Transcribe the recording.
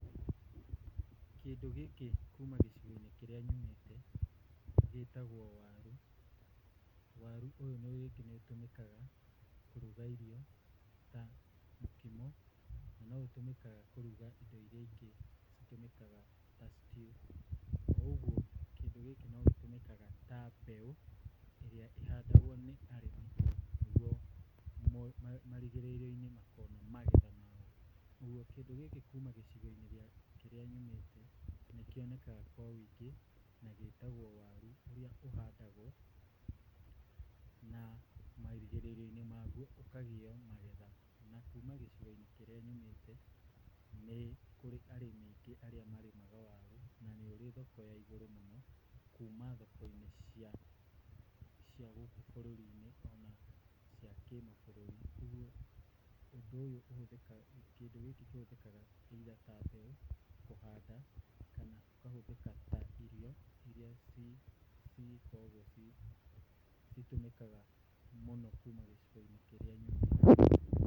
Kĩndũ gĩkĩ kuuma gĩcigo-inĩ kĩrĩa nyumĩte gĩtagwo waru. Waru ũyũ rĩngĩ nĩũgĩtũmĩkaga kũruga irio ta mũkimo, na noũtũmĩkaga kũruga indo iria ingĩ citũmĩkaga ta stew. Koguo kĩndũ gĩkĩ no gĩtũmĩkaga ta mbeũ, ĩrĩa ĩhandagwo nĩ arĩmi nĩguo marigĩrĩrio-inĩ makona magetha mao. Ũguo kĩndũ gĩkĩ kuuma gĩcigo-inĩ kĩrĩa nyumĩte, nĩkĩonekaga kwa ũingĩ. Na gĩtagwo waru, ũrĩa ũhandagwo na marigĩrĩrio-inĩ mao ũkagĩa magetha. Kuuma gĩcigo-inĩ kĩrĩa nyumĩte, nĩ arĩmi aingĩ arĩa marĩmaga waru, na nĩ ũrĩ thoko ya igũrũ mũno, kuuma thoko-inĩ cia gũkũ bũrũri-inĩ, ona cia kĩmabũrũri. Ũguo, ũndũ ũyũ ũhũthĩkaga, kĩndũ gĩkĩ kĩhũthĩkaga either ta mbeũ, kũhanda, kana kũhũthĩka ta irio oria iria cigĩkoragwo citũmĩkaga mũno kuuma gĩcigo-inĩ kĩrĩa nyumĩte.